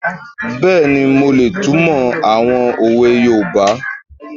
Bẹ́ẹ̀ni, mo lè túnmọ̀ àwọn òwe yoòbá